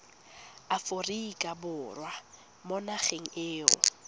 aforika borwa mo nageng eo